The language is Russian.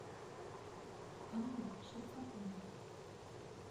анна шестакова